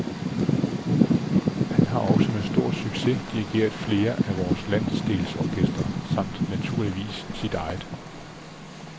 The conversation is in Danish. Han har også med stor succes dirigeret flere af vore landsdelsorkestre, samt naturligvis sit eget.